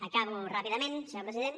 acabo ràpidament senyor president